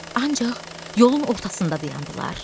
Ancaq yolun ortasında dayandılar.